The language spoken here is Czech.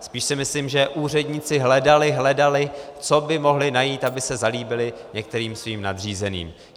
Spíš si myslím, že úředníci hledali, hledali, co by mohli najít, aby se zalíbili některým svým nadřízeným.